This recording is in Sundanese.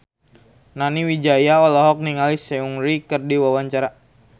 Nani Wijaya olohok ningali Seungri keur diwawancara